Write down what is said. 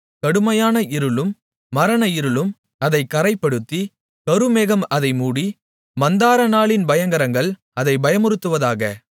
கடுமையான இருளும் மரண இருளும் அதைக் கறைப்படுத்தி கருமேகம் அதை மூடி மந்தாரநாளின் பயங்கரங்கள் அதை பயமுறுத்துவதாக